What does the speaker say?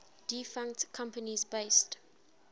defunct companies based